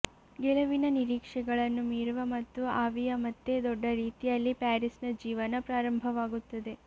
ಗೆಲುವಿನ ನಿರೀಕ್ಷೆಗಳನ್ನು ಮೀರುವ ಮತ್ತು ಆವಿಯ ಮತ್ತೆ ದೊಡ್ಡ ರೀತಿಯಲ್ಲಿ ಪ್ಯಾರಿಸ್ನ ಜೀವನ ಪ್ರಾರಂಭವಾಗುತ್ತದೆ